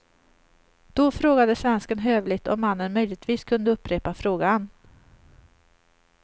Då frågade svensken hövligt om mannen möjligtvis kunde upprepa frågan.